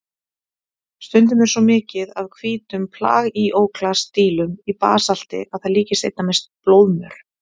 Stundum er svo mikið af hvítum plagíóklas-dílum í basalti að það líkist einna mest blóðmör.